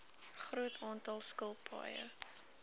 groot aantal skilpaaie